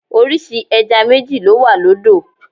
Orísìí ẹja méjì ló wà lódò.